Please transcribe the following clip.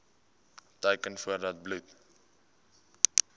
teken voordat bloed